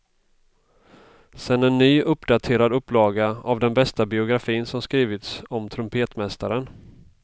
Sen en ny, uppdaterad upplaga av den bästa biografin som skrivits om trumpetmästaren.